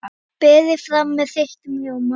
Berið fram með þeyttum rjóma.